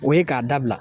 O ye k'a dabila